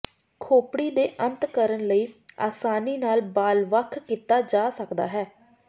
ਖੋਪੜੀ ਦੇ ਅੰਤ ਕਰਨ ਲਈ ਆਸਾਨੀ ਨਾਲ ਬਾਲ ਵੱਖ ਕੀਤਾ ਜਾ ਸਕਦਾ ਹੈ